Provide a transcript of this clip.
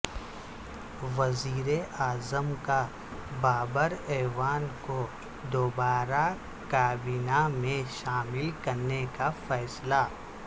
وزیراعظم کا بابر اعوان کو دوبارہ کابینہ میں شامل کرنے کا فیصلہ